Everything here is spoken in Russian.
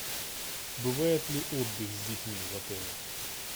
бывает ли отдых с детьми в отеле